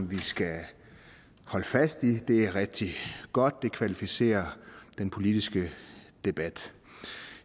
vi skal holde fast i det er rigtig godt det kvalificerer den politiske debat